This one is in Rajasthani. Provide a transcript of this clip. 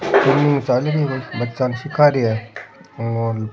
बच्चा सीखा रा है और --